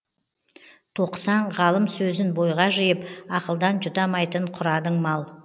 тоқысаң ғалым сөзін бойға жиып ақылдан жұтамайтын құрадың мал